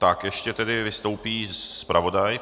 Tak ještě tedy vystoupí zpravodaj.